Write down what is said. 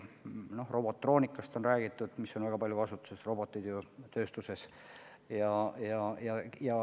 No robotroonikast on räägitud väga paljudes asutustes, roboteid on tööstuses palju.